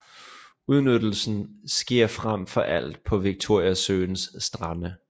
Udnyttelsen sker frem for alt på Victoriasøens strande